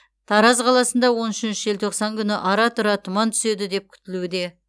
тараз қаласында он үшінші желтоқсан күні ара тұра тұман түседі деп күтілуде